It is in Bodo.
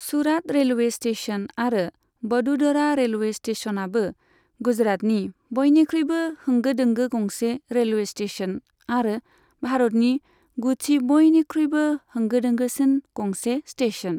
सुरात रेलवे स्टेशन आरो बड'दरा रेलवे स्टेशनआबो गुजरातनि बयनिख्रुइबो होंगो दोंगो गंसे रेलवे स्टेशन आरो भारतनि गुथि बयनिख्रुइबो होंगो दोंगोसिन गंसे स्टेशन।